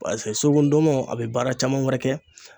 paseke suruku ndɔnmɔn a be baara caman wɛrɛ kɛ